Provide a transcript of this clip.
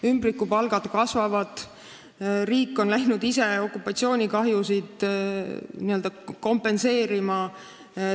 Ümbrikupalgad kasvavad ja riik on hakanud ise okupatsioonikahjusid n-ö kompenseerima.